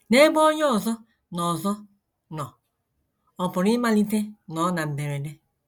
N’ebe onye ọzọ nọ ọzọ nọ, ọ pụrụ ịmalite nnọọ na mberede.